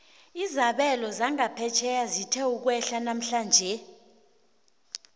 izabelo zangaphetjheya zithe ukwehla namhlanje